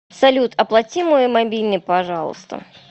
салют оплати мой мобильный пожалуйста